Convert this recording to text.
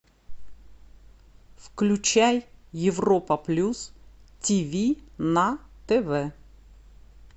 включай европа плюс ти ви на тв